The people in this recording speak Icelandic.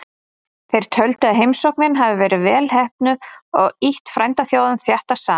Þeir töldu að heimsóknin hefði verið vel heppnuð og ýtt frændþjóðunum þéttar saman.